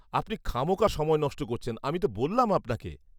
-আপনি খামোখা সময় নষ্ট করছেন, আমি তো বললাম আপনাকে।